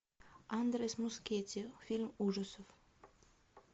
андрес мускетти фильм ужасов